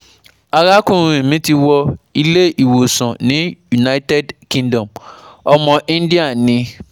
Arakunrin mi ti wọ ilé ìwòsàn ní United Kingdom, ọmọ India ni